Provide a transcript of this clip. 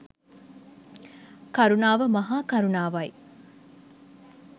කරුණාව මහා කරුණාවයි.